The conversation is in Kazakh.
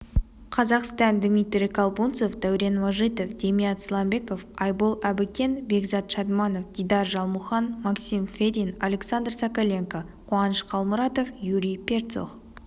қазақстан дмитрий колбунцов дәурен мәжитов демият сламбеков айбол әбікен бекзат шадманов дидар жалмұқан максим федин александр соколенко қуаныш қалмұратов юрий перцух